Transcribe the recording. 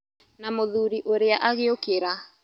Na mũthuri ũrĩa agĩũkĩra.